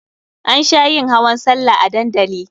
An sha yin hawan sallah a dandali.